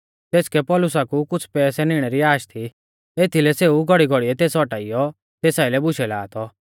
तेसकै पौलुसा कु कुछ़ पैसै निणै री आश थी एथीलै सेऊ घौड़ीघौड़ीऐ तेस औटाइयौ तेस आइलै बुशै ला थौ